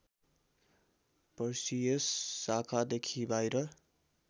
Perseus शाखादेखि बाहिर